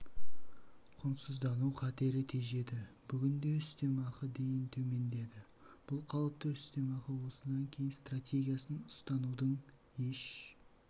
құнсыздану қатері тежеді бүгінде үстемақы дейін төмендеді бұл қалыпты үстемақы осыдан кейін стратегиясын ұстанудың еш